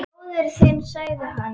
Bróðir þinn sagði hann.